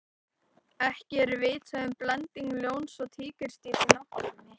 ekki er vitað um blending ljóns og tígrisdýrs í náttúrunni